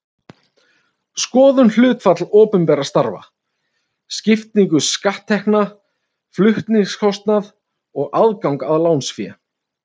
Skoðum hlutfall opinberra starfa, skiptingu skatttekna, flutningskostnað og aðgang að lánsfé.